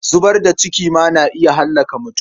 Zubar da ciki ma na iya hallaka mutum.